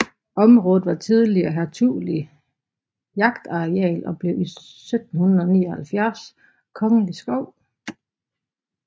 Området var tidligere hertuglig jagtareal og blev i 1779 kongelig skov